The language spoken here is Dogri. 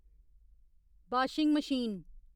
washing machine